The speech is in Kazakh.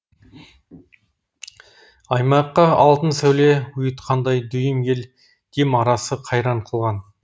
аймаққа алтын сәуле ұйытқандай дүйім ел дем арасы қайран қылған